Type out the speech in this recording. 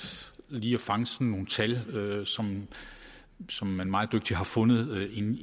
lige at fange sådan nogle tal som som man meget dygtigt har fundet